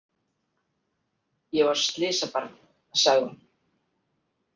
Ég var slysabarn, sagði hún.